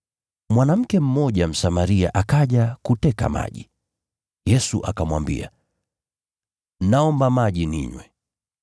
Mwanamke mmoja Msamaria akaja kuteka maji, Yesu akamwambia, “Naomba maji ninywe.”